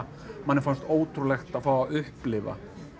manni fannst ótrúlegt að fá að upplifa